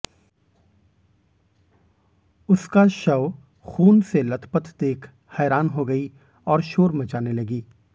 उसका शव खून से लथपथ देख हैरान हो गई और शोर मचाने लगी